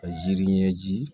Ka jiri ɲɛji